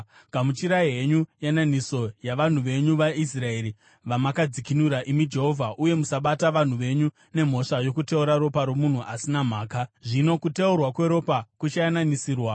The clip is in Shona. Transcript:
Gamuchirai henyu yananiso yavanhu venyu vaIsraeri, vamakadzikinura, imi Jehovha, uye musabata vanhu venyu nemhosva yokuteura ropa romunhu asina mhaka.” Zvino kuteurwa kweropa kuchayananisirwa.